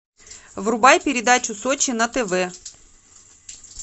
врубай передачу сочи на тв